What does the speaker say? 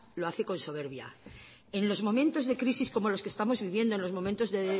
lo hace con soberbia en los momentos de crisis como los que estamos viviendo en los momentos de